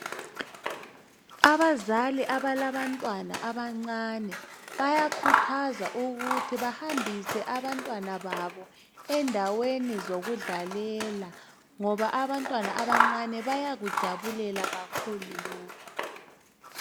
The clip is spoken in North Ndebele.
Abazali abalantwana abancani bayakhuthazwa ukuthi bahambise abantwana babo endaweni zoku dlalela ngoba abantwana abancani bayakujabulela kakhulu lokhu